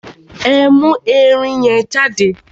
Ẹ mú ẹrin yẹn jáde!